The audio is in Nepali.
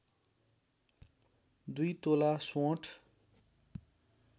२ तोला सोंठ